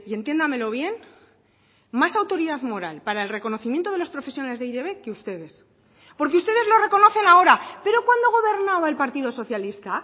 entiéndamelo bien más autoridad moral para el reconocimiento de los profesionales de e i te be que ustedes porque ustedes lo reconocen ahora pero cuando gobernaba el partido socialista